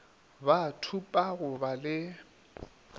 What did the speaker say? ba thupa go ba le